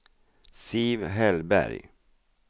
Siv Hellberg